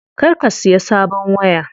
Kar ka siya sabon waya.